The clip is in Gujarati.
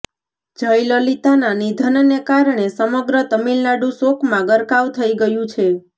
જયલલિતાના નિધનને કારણે સમગ્ર તામિલનાડુ શોકમાં ગરકાવ થઈ ગયું છે